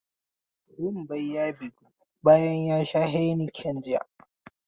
Wambai ya bygu bayan ya sha heineken jiya.